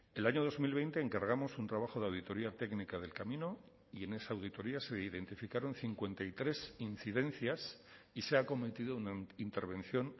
el año dos mil veinte encargamos un trabajo de auditoría técnica del camino y en esa auditoría se identificaron cincuenta y tres incidencias y se ha cometido una intervención